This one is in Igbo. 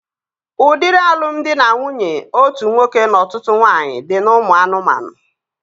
Udiri alụmdi na nwunye otu nwoke na ọtụtụ nwaanyị dị n'ụmụ anụmanụ